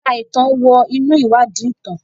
Ẹ̀ka ìtàn wọ inú ìwádìí ìtàn.